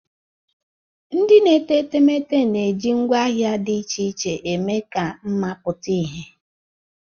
Ndị na-ete etemeete na-eji ngwaahịa dị iche iche eme ka mma pụta ìhè.